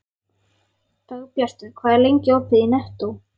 Dagbjartur, hvað er lengi opið í Nettó?